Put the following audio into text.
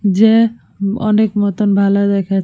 যে অনেক মতন ভালো দেখা --